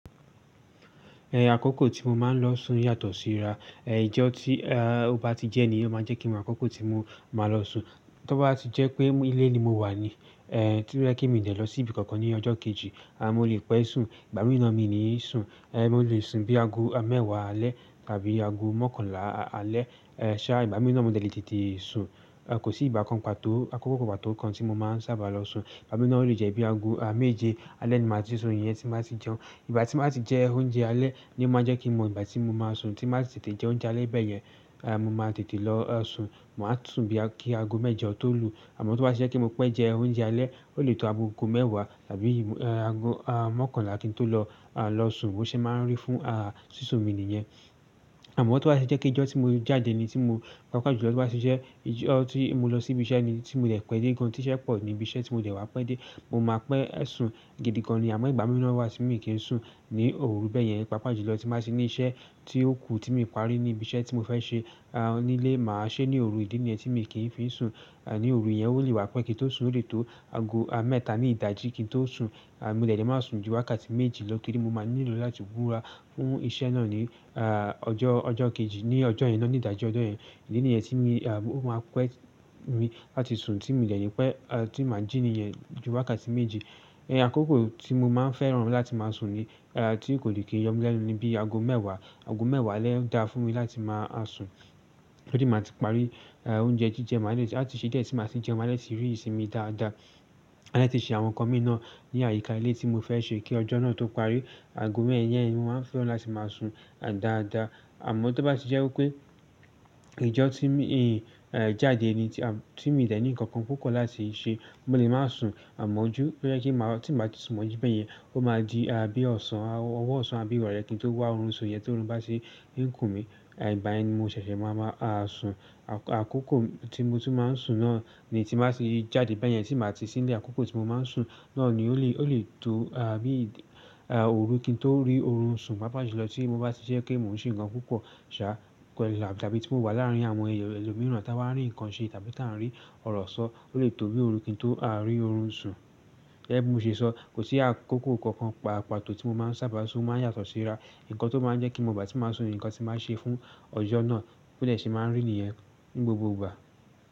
Àkókò tí mo máa ń lọ sùn yàtọ̀ síra. Ẹ ìjọ tí a ó bá ti jẹ níí o máa jẹ́ kí àkókò tí mo máa lọ sùn. Tó bá ti jẹ́ pé ilé ni mo wà ní, e tí mo dẹ́ kí mo jẹ́ lọ sí ibi kankan ní ọjọ́ kejì, a mo lè pẹ́ sùn, ìgbà mìí na mi ni sùn. E mo lè sùn bí aago mẹ́wàá alẹ́ tàbí aago mọ́kànlá alẹ́. E ṣà ìgbà mìí na mo dẹ̀ le tètè sùn. A kò sí ìgbà kan pàtó àkókò kan pàtó tí mo máa ń sábà lọ sùn. Ìgbà mìí na o lè jẹ́ bí aago a méje alẹ́ ni màá ti sùn iyẹn tí màá ti jẹun. Ìgbà tí màá ti jẹ oúnjẹ alẹ́ ni o máa jẹ́ kí mo ìgbà tí mo máa sùn tí màá ti tètè jẹ oúnjẹ alẹ́ bẹ́ẹ̀ yẹn, a mo máa tètè lọ sùn. Máa sùn bí kí aago méje tọ̀ lù. Àmọ́ tó bá ti jẹ́ pé mo pẹ́ jẹ oúnjẹ alẹ́, ó lè tó aago mẹ́wàá tàbí ì aago a mọ́kànlá kí n tó lọ a lọ sùn bó ṣe máa ń rí fún sísun mi nìyẹn. Àmọ́ tó bá ṣe jẹ́ pé ìjọ tí mo jáde ni tí mo pàápàá jùlọ tó bá ṣe je. Ìjọ tí mo lọ sí ibi iṣẹ́ ni tí mo dẹ̀ pẹ́ dé gan tí iṣẹ́ pọ̀ ní ibi iṣẹ́ tí mo dẹ̀ wá pẹ́ dé, mo máa pẹ́ sùn gidi gan ni. Àmọ́ ìgbà mìíràn wà tí mo kì í sùn ní òru bẹ́ẹ̀ yẹn, pàápàá jùlọ tí màá ti ní iṣẹ́ tí ó kù tí mi parí ní ibi iṣẹ́ tí mo fẹ́ ṣe a nílé, màá ṣe ní òru ìdí nìyẹn tí mi kì í fi sùn. A ní òru yẹn ó lè wá pẹ́ kí n tó sùn ó lè tó aago a mẹ́ta ní ìdájí kí n tó sùn. A mo dẹ̀ le máa sùn ju wákàtí méjì lọ torí mo máa nílò láti wúra fún iṣẹ́ náà ní a ọjọ́ ọjọ́ kejì ní ọjọ́ yẹn náà ní ìdájí ọjọ́ yẹn. Ìdí nìyẹn tí mi a ó máa pẹ́ mi láti sùn tí mo dẹ̀ ni pẹ́, a tí màá jí nìyẹn ju wákàtí méjì. Àkókò tí mo máa ń fẹ́ràn láti máa sùn ni a tí kò lè kí yọ mí lẹ́nu ni bí aago mẹ́wàá, aago mẹ́wàá alẹ́ dá fún mi láti máa sùn. Torí máa ti parí a oúnjẹ jíjẹ máa lè tì á ti ṣẹ́ jẹ́ tí màá ti jẹun màá dè ti rí ìsinmi dáadáa. Màá lè ti ṣe àwọn ǹkan mi náà ní àyíká ilé tí mo fẹ́ ṣe kí ọjọ́ náà tó parí. Aago mẹ́ẹ̀wá yẹn ni mo máa ń fẹ́ràn láti máa sùn a dáadáa. Àmọ́ tó bá ti jẹ́ wípé ìjọ tí mi e jáde ni tí a tí mi dẹ̀ ní ǹkan kan púpọ̀ láti ṣe, mo lè máa sùn àmọ́ ojú ó yẹ kí màá tí màá ti sùn mọ́ ojú bẹ́ẹ̀ yẹn, ó máa di a bí ọ̀sán, a ọwọ́ ọ̀sán àbí ìrọ̀lẹ́ kí n tó wá orun sùn yẹn tí órún bá ti íkùn mi. A ìbàyen ni mo ṣẹ̀ṣẹ̀ máa máa a sùn. Àkókò tí mo tí máa ń sùn náà ni tí màá ti jáde bẹ́ẹ̀ yẹn tí màá ti sí ìlé àkókò tí mo máa ń sùn náà ni ó lè ó lè tó a bí a òru kí n tó rí oorun sùn. Pàápàá jùlọ tí mo bá ti ṣe jẹ́ pé mò ń ṣe ǹkan púpọ̀ ṣa kẹ́ láàmú tàbí tí mo wà láàrín àwọn ẹlòmíràn táa wá rí ǹkan ṣe tàbí táa ń rí ọ̀rọ̀ sọ, ó lè tó bí òru kí n tó a rí oorun sùn. E bí mo ṣe sọ, kò sí àkókò kankan pa pààtọ́ tí mo máa ń sábà sùn o máa ń yàtọ̀ síra. Ǹkan tó máa ń jẹ́ kin ma ìgbà tin bá sùn ni ǹkan tí mo bá ṣe fún ọjọ́ ná bó dẹ̀ ṣe ma rí nìyẹn ní gbogbo.